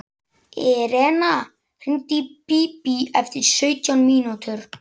Irena, hringdu í Bíbí eftir sautján mínútur.